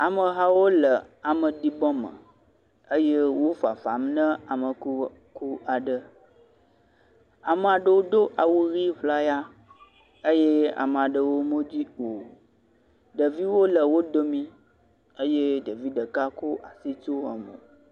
Amehawo le ame ɖibɔme eye wofafam na amekuku aɖe ame aɖewo do awu ɣi ʋlaya eye ame aɖewo medoe o ɖeviwo le wodomi eye ɖevi ɖeka kɔ asi tsyɔ mo